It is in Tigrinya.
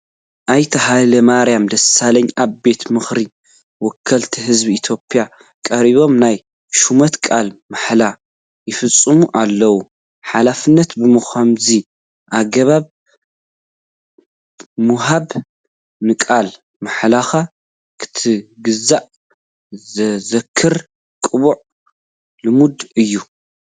ኣይተ ሃይለማርያም ደሳለኝ ኣብ ቤት ምኽሪ ወከልቲ ህዝቢ ኢትዮጵያ ቀሪቦም ናይ ሹመት ቃለ ማሕላ ይፍፅሙ ኣለዉ፡፡ ሓላፍነት ብኸምዚ ኣገባብ ምውሃቡ ንቃለ ማሕላኻ ክትግዛእ ዘዝክር ቅቡል ልምዲ እዩ፡፡